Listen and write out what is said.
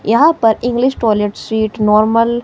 यहां पर English toilet seat normal --